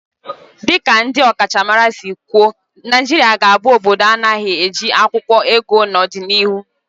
Dị ka ndị ọkachamara si kwụọ Naijiria ga-abụ obodo na-anaeghị eji akwụkwụọ ego n'ọdịnihu